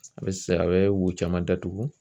A bɛ sa a bɛ wo caman datugu